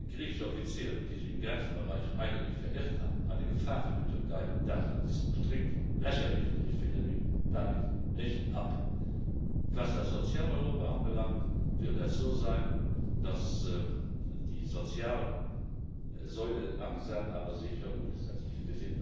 griechische Offiziere, die sich im Grenzbereich eigentlich verirrt haben, eine Gefahr für die Türkei darstellen. Das ist strikt lächerlich, und ich finde mich damit nicht ab. Was das soziale Europa anbelangt, wird es so sein, dass die soziale Säule langsam aber sicher umgesetzt wird.